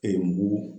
mugu